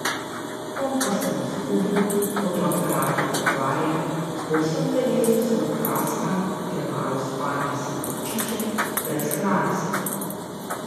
Kompas sem izgubil, fotoaparat je pokvarjen, po vsem telesu sem opraskan, od premalo spanja sem vročičen, brez hrane sem.